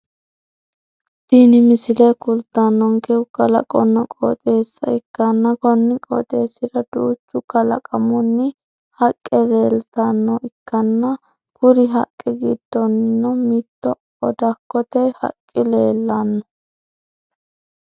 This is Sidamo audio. Tinni misile kultanonkehu kalaqonna qooxeessa ikkanna konni qooxeesira duucha kalaqamunni haqe leeltanoha ikanna kuri haqe gidonnino mitu odakote haqi leelano.